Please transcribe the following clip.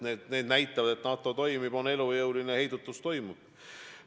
Need arvud näitavad, et NATO toimib, on elujõuline, et heidutus toimib.